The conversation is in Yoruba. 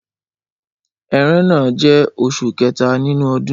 Ẹrẹ́nà jẹ́ oṣù kẹta nínú ọdún.